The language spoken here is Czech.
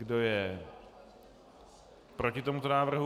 Kdo je proti tomuto návrhu?